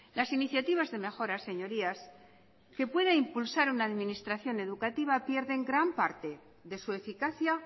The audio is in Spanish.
las iniciativas de mejoras señorías que pueda impulsar una administración educativa pierden gran parte de su eficacia